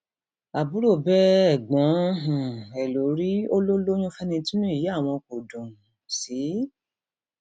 àbúrò bẹ ẹgbọn um ẹ lórí ó lọ lóyún fẹni tínú ìyá àwọn kò dùn um sí